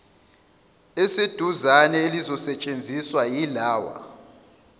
eseduzane elizosetshenziswa yilawa